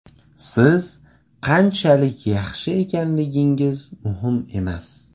Siz qanchalik yaxshi ekanligingiz muhim emas.